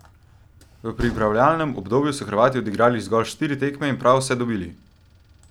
V pripravljalnem obdobju so Hrvati odigrali zgolj štiri tekme in prav vse dobili.